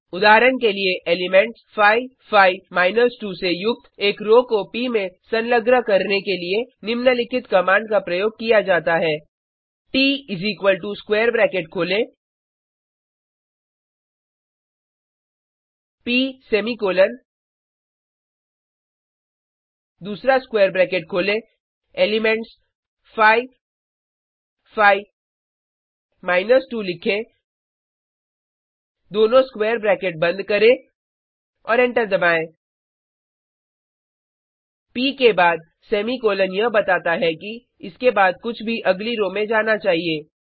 उदाहरण के लिए एलिमेंट्स 5 5 2 से युक्त एक रो को प में संलग्न करने के लिए निम्नलिखित कमांड का प्रयोग किया जाता है ट स्क्वेर ब्रैकेट खोलें प सेमीकोलन दूसरा स्क्वेर ब्रैकेट खोलें एलिमेंट्स 5 5 2 लिखें दोनों स्क्वेर ब्रैकेट बंद करें और एंटर दबाएँ प के बाद सेमीकॉलन यह बताता है कि इसके बाद कुछ भी अगली रो में जाना चाहिए